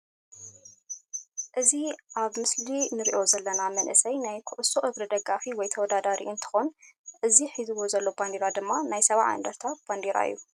እዚ ኣብ ምስሊ እንሪኦ ዘለና መንእሰይ ናይ ኩዕሶ እግሪ ደጋፊ ወይ ተወዳዳሪ እንትኮን እዚ ሒዝዎ ዘሎ ባንዴራ ድማ ናይ ሰብዐሳ እንድርታ ባንዴራ እዩ።